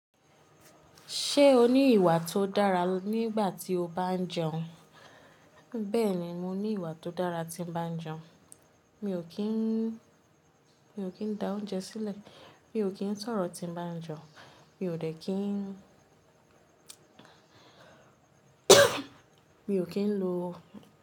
Ṣé o ní ìwà tó dára nígbà tí o bá jẹun? Bẹ́ẹ̀ni, mo ní ìwà tó dára tí n bá ń jẹun. Mi ò kí ń, mi ò kí ń da oúnjẹ sílẹ̀, mi ò kí ń sọ̀rọ̀ tí mbá jẹun, mi ò dẹ́ kí ń, mi ò kí ń lo.